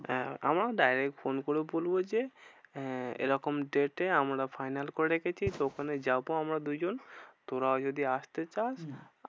হ্যাঁ আমি direct phone করে বলবো যে, আহ এরকম day তে আমরা final করে রেখেছি ওখানে যাবো আমরা দুজন। তোরাও যদি আসতে চাস হম